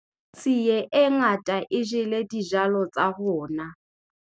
Tsie e ngata e jele dijalo tsa rona.